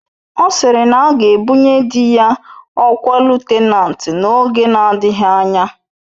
Ọ sịrị na aga ebunye dị ya ọkwa lutenanti n'oge na-adịghị anya